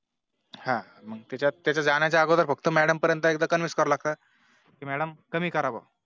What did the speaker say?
हा मग त्याच्यात तिच्यात जाणाया अगोदर फक्त Madam पर्यां एकदा Convince करावं लागत कि Madam तुम्ही करा बुवा